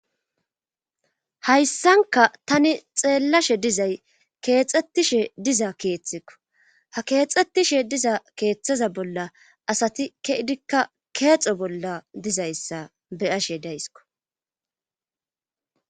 hayssanka tani xeellashe dizay keexxettishe diza keeththikko ha keexxettishe diza keeththaza bolla asati ke idikka keexo bolla dizayssa beyashe daysiko